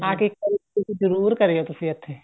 ਆਕੇ ਇੱਕ ਵਾਰੀ ਜਰੂਰ ਕਰਿਓ ਤੁਸੀਂ ਇੱਥੇ